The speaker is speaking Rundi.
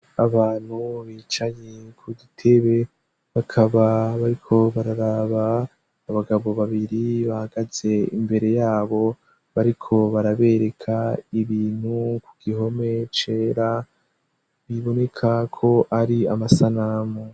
Abantu bicaye ku dutebe bakaba bariko bararaba abagabo babiri bahagaze imbere yabo, bariko barabereka ibintu ku gihome cera, biboneka ko ari amasanamu.